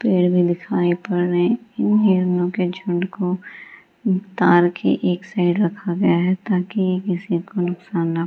पेड़ दिखाई पड़ रही है। इन हिरणो के झुण्ड को तार के एक साइड रखा गया ताकि किसी को कोई नुकसान नहीं--